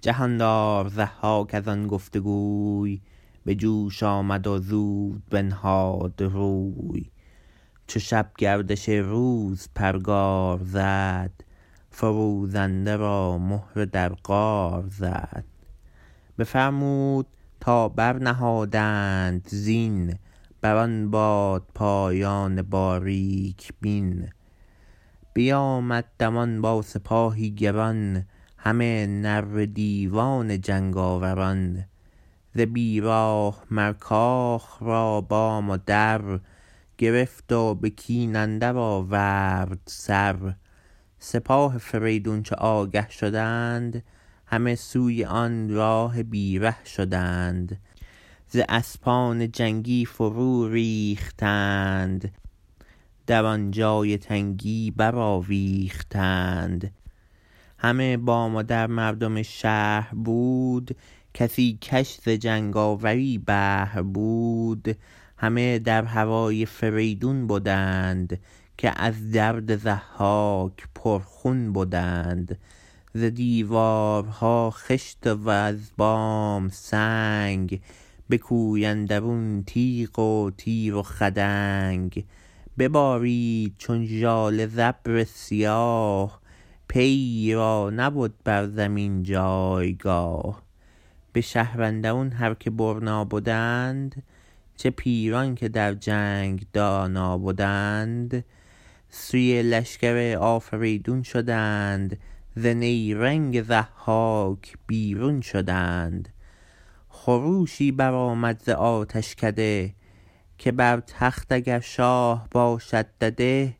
جهاندار ضحاک از آن گفت گوی به جوش آمد و زود بنهاد روی چو شب گردش روز پرگار زد فروزنده را مهره در قار زد بفرمود تا برنهادند زین بر آن بادپایان باریک بین بیامد دمان با سپاهی گران همه نره دیوان جنگاوران ز بی راه مر کاخ را بام و در گرفت و به کین اندر آورد سر سپاه فریدون چو آگه شدند همه سوی آن راه بی ره شدند ز اسپان جنگی فرو ریختند در آن جای تنگی برآویختند همه بام و در مردم شهر بود کسی کش ز جنگاوری بهر بود همه در هوای فریدون بدند که از درد ضحاک پرخون بدند ز دیوارها خشت وز بام سنگ به کوی اندرون تیغ و تیر و خدنگ ببارید چون ژاله ز ابر سیاه پیی را نبد بر زمین جایگاه به شهر اندرون هر که برنا بدند چه پیران که در جنگ دانا بدند سوی لشکر آفریدون شدند ز نیرنگ ضحاک بیرون شدند خروشی برآمد ز آتشکده که بر تخت اگر شاه باشد دده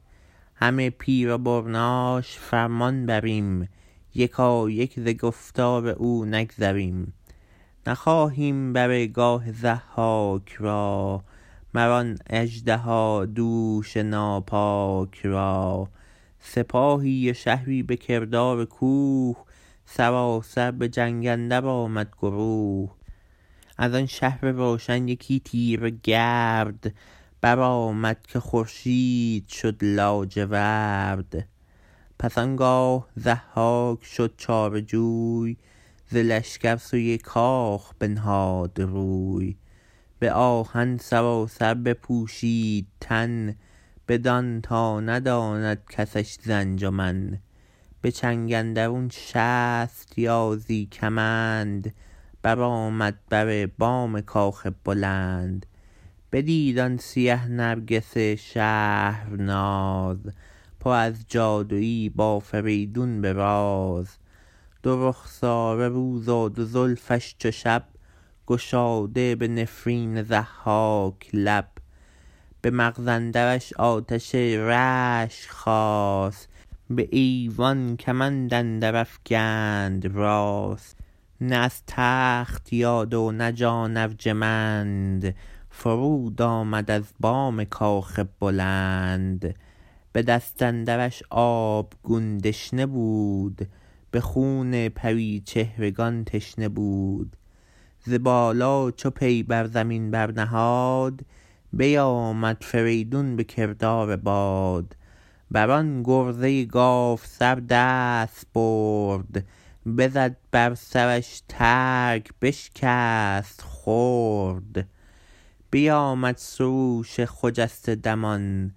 همه پیر و برناش فرمان بریم یکایک ز گفتار او نگذریم نخواهیم بر گاه ضحاک را مر آن اژدهادوش ناپاک را سپاهی و شهری به کردار کوه سراسر به جنگ اندر آمد گروه از آن شهر روشن یکی تیره گرد برآمد که خورشید شد لاجورد پس آنگاه ضحاک شد چاره جوی ز لشکر سوی کاخ بنهاد روی به آهن سراسر بپوشید تن بدان تا نداند کسش ز انجمن به چنگ اندرون شست یازی کمند برآمد بر بام کاخ بلند بدید آن سیه نرگس شهرناز پر از جادویی با فریدون به راز دو رخساره روز و دو زلفش چو شب گشاده به نفرین ضحاک لب به مغز اندرش آتش رشک خاست به ایوان کمند اندر افگند راست نه از تخت یاد و نه جان ارجمند فرود آمد از بام کاخ بلند به دست اندرش آبگون دشنه بود به خون پریچهرگان تشنه بود ز بالا چو پی بر زمین برنهاد بیآمد فریدون به کردار باد بر آن گرزه گاوسر دست برد بزد بر سرش ترگ بشکست خرد بیآمد سروش خجسته دمان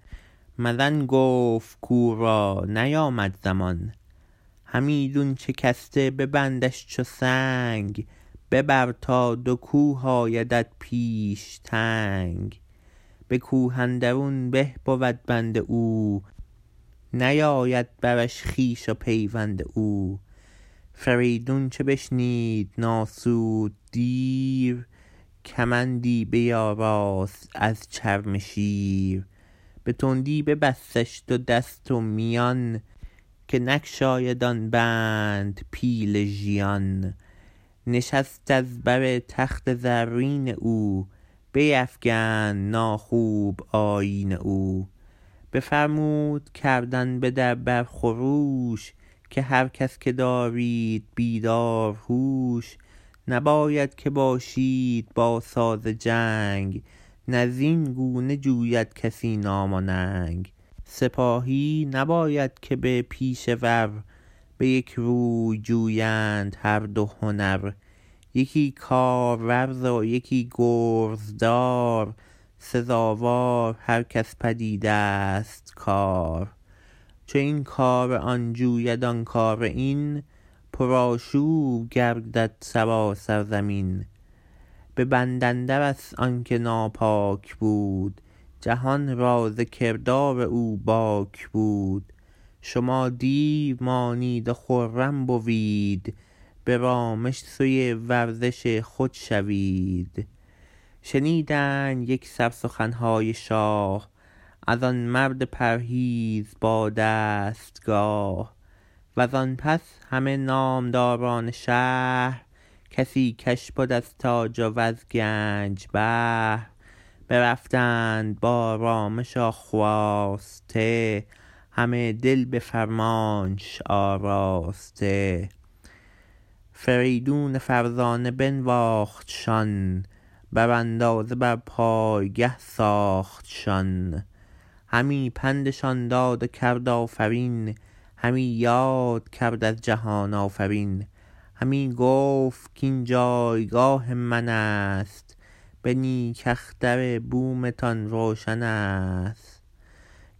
مزن گفت کاو را نیامد زمان همیدون شکسته ببندش چو سنگ ببر تا دو کوه آیدت پیش تنگ به کوه اندرون به بود بند او نیاید برش خویش و پیوند او فریدون چو بشنید نآسود دیر کمندی بیاراست از چرم شیر به تندی ببستش دو دست و میان که نگشاید آن بند پیل ژیان نشست از بر تخت زرین او بیفگند ناخوب آیین او بفرمود کردن به در بر خروش که هر کس که دارید بیدار هوش نباید که باشید با ساز جنگ نه زین گونه جوید کسی نام و ننگ سپاهی نباید که با پیشه ور به یک روی جویند هر دو هنر یکی کارورز و یکی گرزدار سزاوار هر کس پدید است کار چو این کار آن جوید آن کار این پرآشوب گردد سراسر زمین به بند اندر است آن که ناپاک بود جهان را ز کردار او باک بود شما دیر مانید و خرم بوید به رامش سوی ورزش خود شوید شنیدند یکسر سخنهای شاه از آن مرد پرهیز با دستگاه وز آن پس همه نامداران شهر کسی کش بد از تاج وز گنج بهر برفتند با رامش و خواسته همه دل به فرمانش آراسته فریدون فرزانه بنواختشان بر اندازه بر پایگه ساختشان همی پندشان داد و کرد آفرین همی یاد کرد از جهان آفرین همی گفت کاین جایگاه من است به نیک اختر بومتان روشن است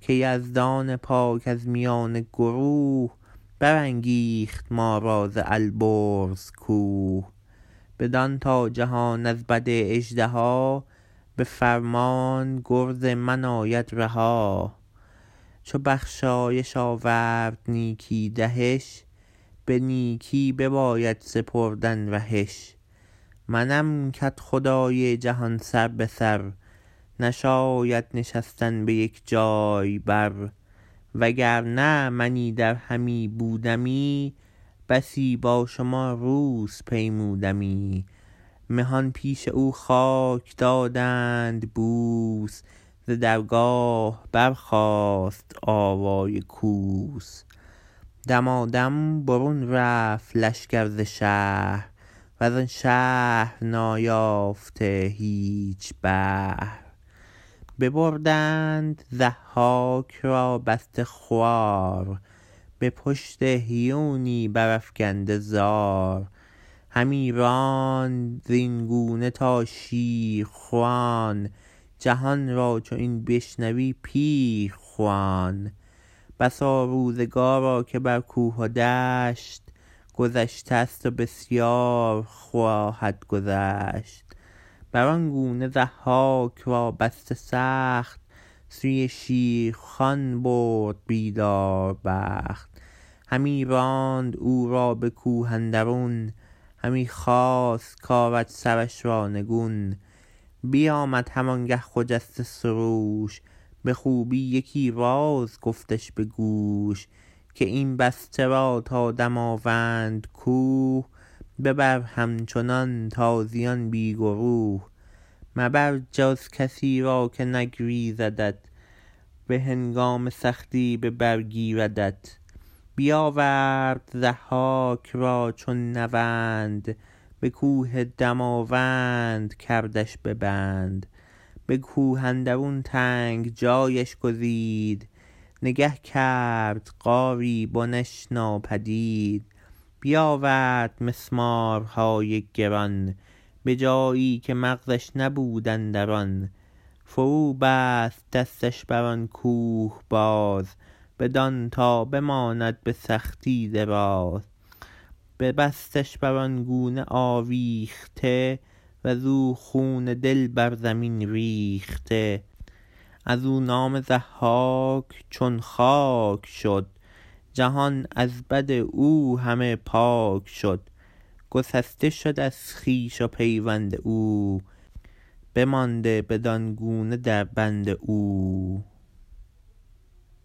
که یزدان پاک از میان گروه برانگیخت ما را ز البرز کوه بدان تا جهان از بد اژدها به فرمان گرز من آید رها چو بخشایش آورد نیکی دهش به نیکی بباید سپردن رهش منم کدخدای جهان سر به سر نشاید نشستن به یک جای بر وگر نه من ایدر همی بودمی بسی با شما روز پیمودمی مهان پیش او خاک دادند بوس ز درگاه برخاست آوای کوس دمادم برون رفت لشکر ز شهر وز آن شهر نایافته هیچ بهر ببردند ضحاک را بسته خوار به پشت هیونی برافگنده زار همی راند از این گونه تا شیرخوان جهان را چو این بشنوی پیر خوان بسا روزگارا که بر کوه و دشت گذشته ست و بسیار خواهد گذشت بر آن گونه ضحاک را بسته سخت سوی شیرخوان برد بیداربخت همی راند او را به کوه اندرون همی خواست کآرد سرش را نگون بیآمد هم آن گه خجسته سروش به خوبی یکی راز گفتش به گوش که این بسته را تا دماوند کوه ببر همچنان تازیان بی گروه مبر جز کسی را که نگزیردت به هنگام سختی به بر گیردت بیآورد ضحاک را چون نوند به کوه دماوند کردش به بند به کوه اندرون تنگ جایش گزید نگه کرد غاری بنش ناپدید بیآورد مسمارهای گران به جایی که مغزش نبود اندران فرو بست دستش بر آن کوه باز بدان تا بماند به سختی دراز ببستش بر آن گونه آویخته وز او خون دل بر زمین ریخته از او نام ضحاک چون خاک شد جهان از بد او همه پاک شد گسسته شد از خویش و پیوند او بمانده بدان گونه در بند او